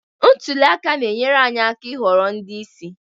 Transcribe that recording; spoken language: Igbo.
Ntuli aka na-enyere anyị aka ịhọrọ ndị isi